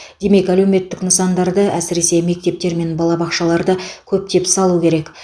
демек әлеуметтік нысандарды әсіресе мектептер мен балабақшаларды көптеп салу керек